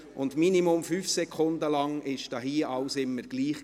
Während mindestens 5 Sekunden war gemäss meiner Anzeigetafel alles gleich.